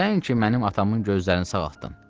Sən ki mənim atamın gözlərini sağaltdın.